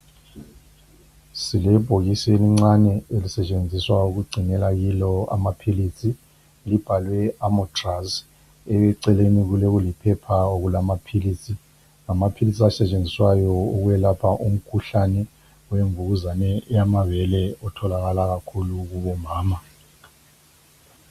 silebhokisi elincane elisetsheniswa ukugcinelwa kilo amaphilisi libhalwe amatraz eceleni kulokuliphepha okulamaphilisi ngamaphilisi esesetshenziswayo ukulapha imikhuhlane wemvukuzane yamabele otholakala kakhulu kubo mama